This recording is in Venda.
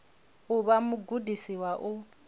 u vha mugudisi wa u